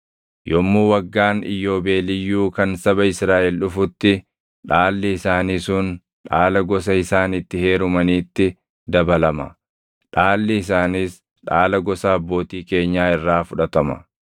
Yommuu Waggaan Iyyoobeeliyyuu kan saba Israaʼel dhufutti dhaalli isaanii sun dhaala gosa isaan itti heerumaniitti dabalama; dhaalli isaaniis dhaala gosa abbootii keenyaa irraa fudhatama.”